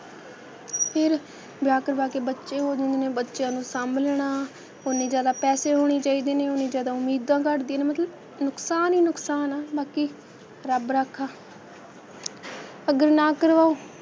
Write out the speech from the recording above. ਫੇਰ ਵਿਆਹ ਕਰਵਾ ਕੇ ਬੱਚੇ ਹੋ ਜਾਂਦੇ ਨੇ, ਬੱਚਿਆਂ ਨੂੰ ਸਾਂਭ ਲੈਣਾ, ਓਨੇ ਜ਼ਿਆਦਾ ਪੈਸੇ ਹੋਣੇ ਚਾਹੀਦੇ ਨੇ, ਓਹਨੀ ਜ਼ਿਆਦਾ ਉਮੀਦਾਂ ਘੱਟਦੀਆਂ ਨੇ, ਮਤਲਬ ਨੁਕਸਾਨ ਹੀ ਨੁਕਸਾਨ ਆ, ਬਾਕੀ ਰੱਬ ਰਾਖਾ ਅਗਰ ਨਾ ਕਰਵਾਓ,